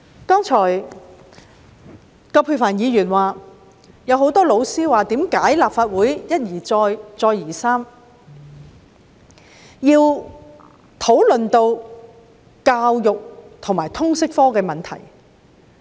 葛珮帆議員剛才說很多教師也問，為何立法會一而再，再而三地討論通識教育科的問題。